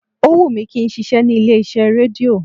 Ó wù mí kí n ṣiṣẹ́ ní ilé iṣẹ́ rédíò